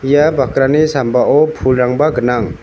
ia bakrani sambao pulrangba gnang.